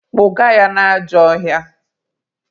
Kpụga ya n'ajọ ọhịa!